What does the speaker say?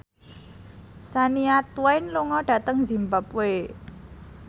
Shania Twain lunga dhateng zimbabwe